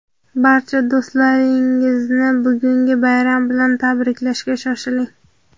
barcha do‘stlaringizni bugungi bayram bilan tabriklashga shoshiling.